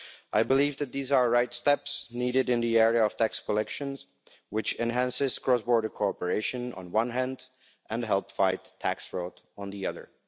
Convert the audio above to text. I believe that these are the right steps needed in the area of tax collection, which enhance cross border cooperation on the one hand and help fight tax fraud on the other.